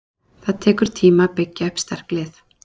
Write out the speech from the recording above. Það tekur tíma að byggja upp sterk lið.